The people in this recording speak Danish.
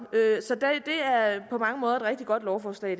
på mange måder et rigtig godt lovforslag i